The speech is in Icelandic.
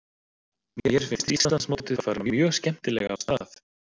Mér finnst Íslandsmótið fara mjög skemmtilega af stað.